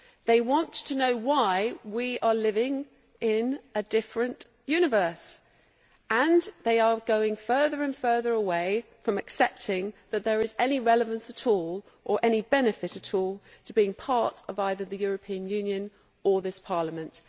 They want to know why we are living in a different universe, and they are going further and further away from accepting that there is any relevance at all, or any benefit at all, to being part of either the European Union or this Parliament.